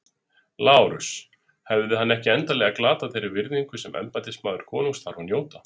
LÁRUS: Hefði hann ekki endanlega glatað þeirri virðingu sem embættismaður konungs þarf að njóta?